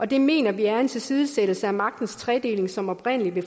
det mener vi er en tilsidesættelse af magtens tredeling som oprindelig blev